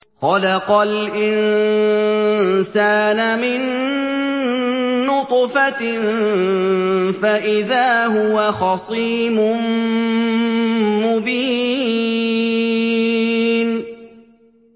خَلَقَ الْإِنسَانَ مِن نُّطْفَةٍ فَإِذَا هُوَ خَصِيمٌ مُّبِينٌ